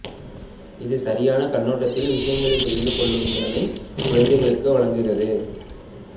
இது சரியான கண்ணோட்டத்தில் விஷயங்களை புரிந்துகொள்ளும் திறனை குழந்தைகளுக்கு வழங்குகிறது